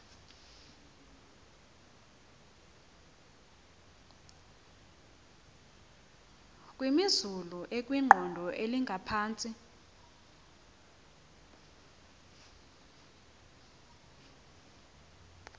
kwimozulu ekwiqondo elingaphantsi